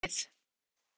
Mjög ungt lið